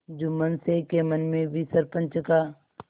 जुम्मन शेख के मन में भी सरपंच का